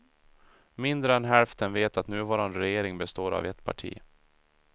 Mindre än hälften vet att nuvarande regering består av ett parti.